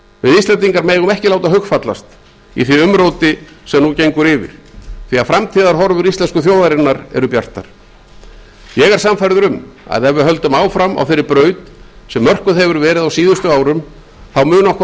við íslendingar megum ekki láta hugfallast í því umróti sem nú gengur yfir því að framtíðarhorfur íslensku þjóðarinnar eru bjartar ég er sannfærður um að ef við höldum ótrauð áfram á þeirri braut sem mörkuð hefur verið á síðustu árum þá muni okkur